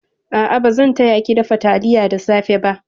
A'a, bazan taya ki dafa taliya da safe ba.